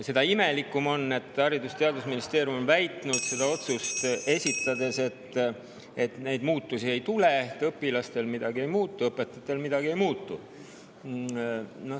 Seda imelikum on, et Haridus‑ ja Teadusministeerium on seda otsust esitades väitnud, et muutusi ei tule: õpilastel midagi ei muutu, õpetajatel midagi ei muutu.